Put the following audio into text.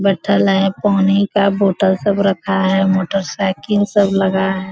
बैएठल हेय पानी का बोतल सब रखा हेय मोटर साइकिल सब लगा हेय।